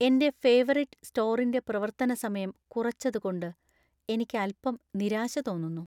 എന്‍റെ ഫേവറിറ്റ് സ്റ്റോറിന്‍റെ പ്രവർത്തനസമയം കുറച്ചതുകൊണ്ട് എനിക്ക് അൽപ്പം നിരാശ തോന്നുന്നു.